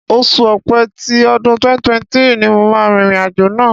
Oṣù Ọ̀pẹ tí ọdún 2023 ni màá rìnrìn àjò náà.